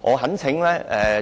我懇請